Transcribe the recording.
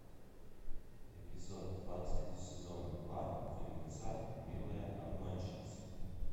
эпизод двадцать сезона два фильмеца милые обманщицы